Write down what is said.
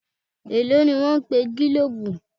Èló ni wọ́n pe gílòòbù.?